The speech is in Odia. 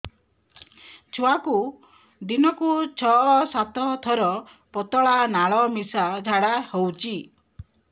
ଛୁଆକୁ ଦିନକୁ ଛଅ ସାତ ଥର ପତଳା ନାଳ ମିଶା ଝାଡ଼ା ହଉଚି